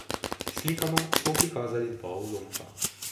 S slikama smo prikazali dva ulomka.